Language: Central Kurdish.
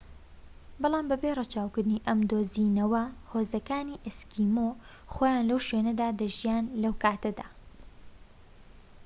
بەڵام بێ ڕەچاوکردنی ئەم دۆزینەوە هۆزەکانی ئەسکیمۆ خۆیان لەو شوێنەدا دەژیان لەو کاتەدا